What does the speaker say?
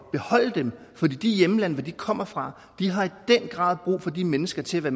at beholde dem for de hjemlande de kommer fra har i den grad brug for de mennesker til at